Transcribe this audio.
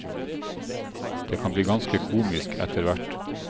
Det kan bli ganske komisk etter hvert.